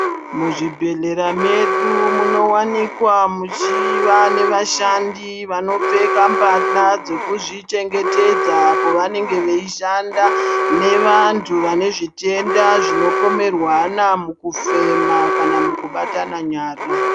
Muzvibhedhlera mwedu munowanika muchiva nevashandi vanopfeka mbahla dzekuzvichengetedza pavanenge veishanda nevantu vanezvitenda zvinopomerwana mukufema kana mukabatana nyara.